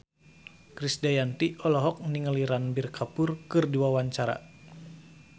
Krisdayanti olohok ningali Ranbir Kapoor keur diwawancara